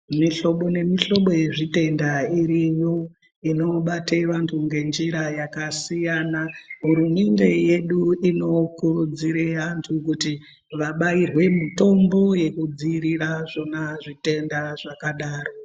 Mihlobo nemihlobo yezvitenda iriyo inobate vantu ngenjira yakasiyana hurumende yedu inokurudzire vantu kuti vabairwe mutombo yekudzivirira zvona zvitenda zvakadaro.